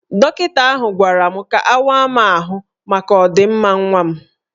Dọkịta ahụ gwara m ka awa m ahụ maka ọ dị mma nwa m